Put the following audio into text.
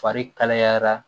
Fari kalayara